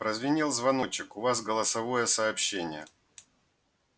прозвенел звоночек у вас голосовое сообщение